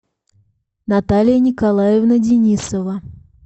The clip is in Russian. наталья николаевна денисова